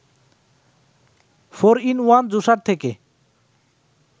four in one juicer থেকে